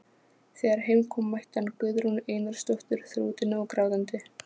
Þegar heim kom mætti hann Guðrúnu Einarsdóttur þrútinni og grátandi.